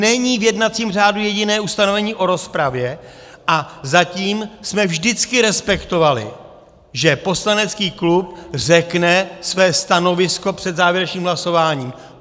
Není v jednacím řádu jediné ustanovení o rozpravě a zatím jsme vždycky respektovali, že poslanecký klub řekne své stanovisko před závěrečným hlasováním.